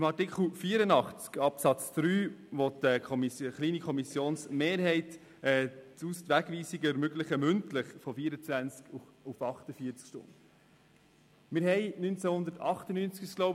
Bei Artikel 84 Absatz 3 möchte eine kleine Kommissionsmehrheit die Möglichkeit mündlicher Wegweisungen von 24 auf 48 Stunden erhöhen.